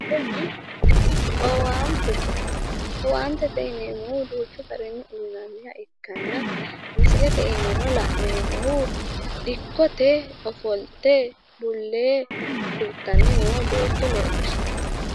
Kuni owaatete, owaante yineemmohu duuchu garinni uynanniha ikkanna misileete iimanno la'neemmohu dikkote ofolte bulle hirtanno beetto leellishshanno.